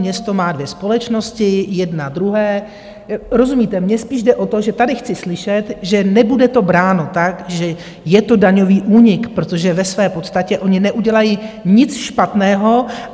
Město má dvě společnosti, jedna druhé - rozumíte, mně spíš jde o to, že tady chci slyšet, že nebude to bráno tak, že je to daňový únik, protože ve své podstatě oni neudělají nic špatného.